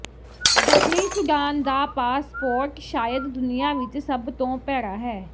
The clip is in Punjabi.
ਦੱਖਣੀ ਸੁਡਾਨ ਦਾ ਪਾਸਪੋਰਟ ਸ਼ਾਇਦ ਦੁਨੀਆ ਵਿਚ ਸਭ ਤੋਂ ਭੈੜਾ ਹੈ